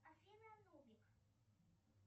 афина нубик